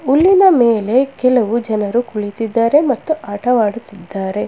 ಹುಲ್ಲಿನ ಮೇಲೆ ಕೆಲವು ಜನರು ಕುಳಿತಿದಾರೆ ಮತ್ತು ಆಟವಾಡುತ್ತಿದ್ದಾರೆ.